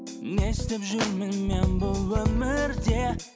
не істеп жүрмін мен бұл өмірде